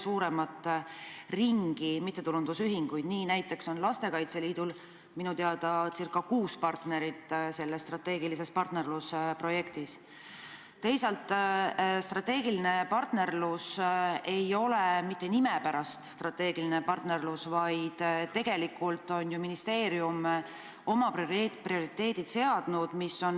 Suur tänu taas olulise küsimuse eest!